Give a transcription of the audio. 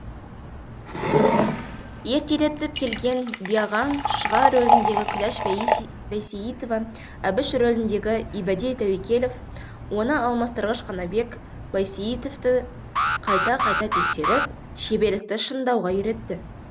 ертелетіп келген биағаң шұға рөліндегі күләш бәйсейітова әбіш рөліндегі ибәди тәуекелов оны алмастырғыш қанабек байсейітовті қайта қайта тексеріп шеберлікті шыңдауға үйретті